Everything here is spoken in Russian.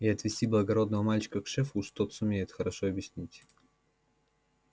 и отвести благодарного мальчика к шефу уж тот сумеет хорошо объяснить